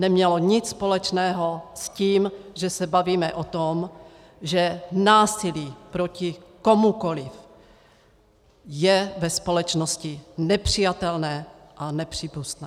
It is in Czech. Nemělo nic společného s tím, že se bavíme o tom, že násilí proti komukoli je ve společnosti nepřijatelné a nepřípustné.